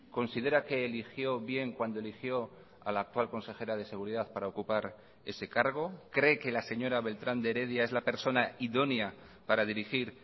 considera que eligió bien cuando eligió a la actual consejera de seguridad para ocupar ese cargo cree que la señora beltrán de heredia es la persona idónea para dirigir